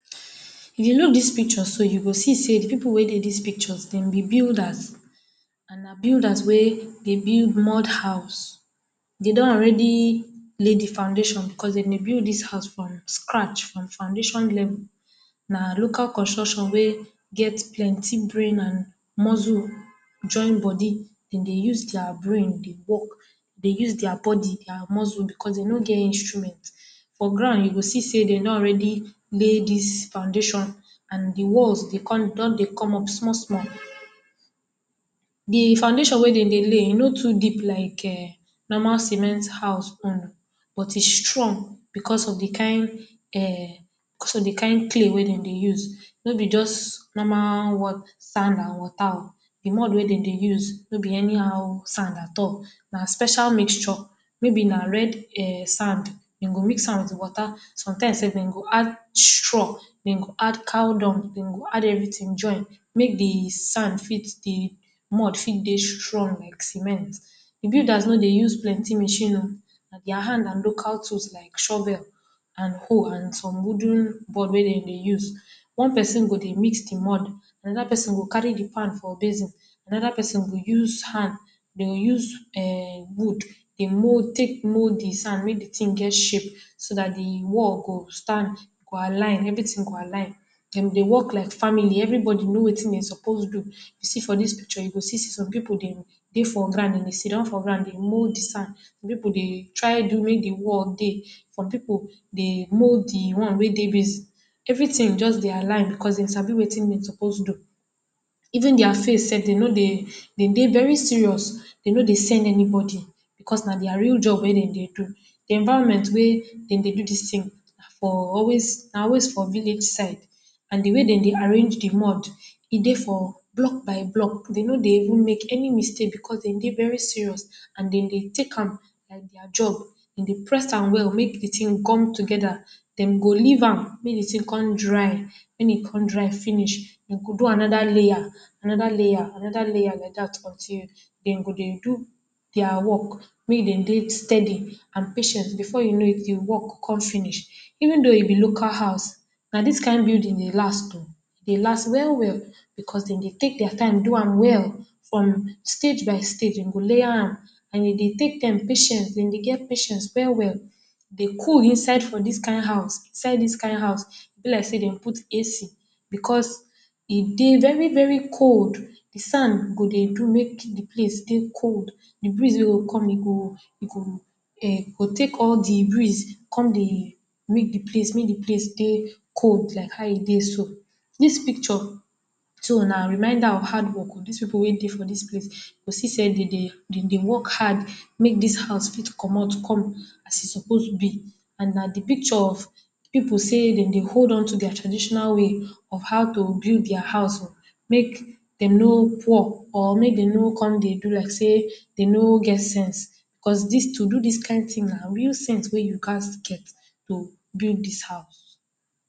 If you look dis picture so, you go see sey pipu wey dey dis picture dem be builders. And na builders wey dey build mud house. They don already lay the foundation becos de dey built dis house from scratch, from foundation level. Na local construction wey get plenty brain and muscle join body. De dey use their brain dey work. They use their body, their muscles, becos they no get and instruments. For ground, you go see sey de don already lay dis foundation, and the walls dey come don dey come up small. The foundation wey de dey lay, e no too deep like um normal cement house own but e strong becos of the kind um becos of the kind clay wey de dey use. No be just normal sand and water oh. The mud wey de dey use no be anyhow sand at all. Na special mixture. Maybe na red um sand. De go mix am with water. Sometimes self, de go add straw, de go add cow dung, de go add everything join, make the sand fit the mud fit dey strong like cement. The builders no dey use plenty of machine oh. Na their hand and local tools like shovels and hoes, and some wooden board wey de dey use. One pesin go dey mix the mud, anoda pesin go carry the pan for basin, anoda pesin go use hand. De go use um wood dey mold take mold the sand make the thing get shape. So dat the wall go stand, go align. Everything go align. De dey work like family. Everynody know wetin de suppose do. You see for dis picture, you go still see some pipu dem dey for ground. Dem sit down for ground dey mold sand. Some pipu dey try do make the work dey, some pipu dey mold the one wey dey basin. Everything just dey aligns becos de sabi wetim they suppose do. Even their face delf, de no dey, de dey very serious. De no dey send anybody because na their real job wey de dey do. The environment wey de dey do dis thing for always for village side. And the way de dey arrange the mud, e dey for block by block. De no dey even make any mistake becos de dey very serious and de dey take am like their job. De dey press am well, make the thing come together. De go leave am, make the thing con dry. Wen e con dry finish, de go do anoda layer. Anoder layer, anoder layer like dat for dere. De go dey do their work mey e de dey steady and patient. Before you know it, the work con finish. Even though e be local house, na dis kind building dey last oh. E dey last well well becos de dey take their time do am well from stage by stage, De go layer am and e dey take time, patient. De go get patient well well. The cool inside for dis kind house, Inside dis kind house, be like sey de put AC becos e dey very very cold. The sand go dey do make the place dey cold. The breeze wey go come, e go e go um go take all the breeze con dey make the place mey the place dey cold like how e dey so. Dis picture too na reminder of hard work. Dis pipu wey dey for dis place. You go see sey de dey, de dey work hard, make dis house fit comot come as e suppose be. And na the picture of pipu say de dey hold on to their traditional way of how to build their house, make dem no poor or make dem no con dey do like sey de no get sense. Becos dis to do dis kind thing, na real sense wey you gat get to build dis house